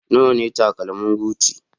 Nawa ne takalmin Gucci?